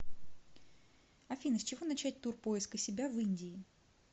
афина с чего начать тур поиска себя в индии